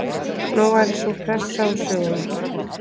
Nú væri sú pressa úr sögunni